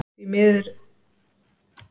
Það vill því miður allt of oft gleymast.